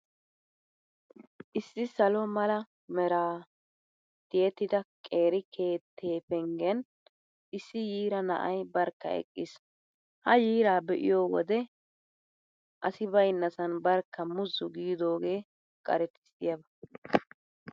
Issi salo mala meraa tiyettida qeeri keettee penggen issi yiira na'ay barkka eqqiis. Ha yiiraa be'iyoo wode asi baynnasan barkka muzzu giidoogee qaretissiyaba.